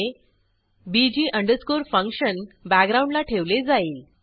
मुळे bg function बॅकग्राऊंडला ठेवले जाईल